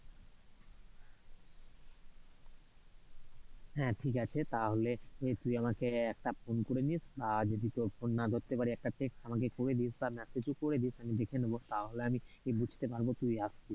হ্যাঁ ঠিক আছে, তাহলে তুই আমাকে একটা phone করেনিস, আর যদি ত phone না ধরতে পরি একট text আমাকে করে দিস, বা message ও করে দিস আমি দেখে নিব তাহলে আমি বুঝতে পারবো তুই অসছিস।